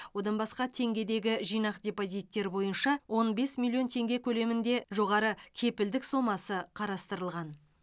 одан басқа теңгедегі жинақ депозиттер бойынша он бес миллион теңге көлемінде жоғары кепілдік сомасы қарастырылған